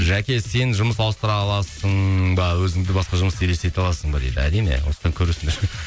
жәке сен жұмыс ауыстыра аласың ба өзіңді басқа жұмыста елестете аласың ба дейді әрине осыдан көресіңдер